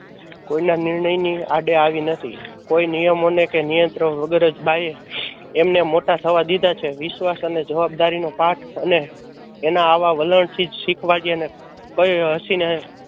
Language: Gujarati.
કોઈ ના નિર્ણયની આડે આવી નથી. કોઈ નિયમો ને કે નિયંત્રણ વગર જ બા એ એમને મોટા થવા દીધા છે. વિશ્વાશ અને જવાબદારી નો પાઠ અને એના આવા વલણથી જ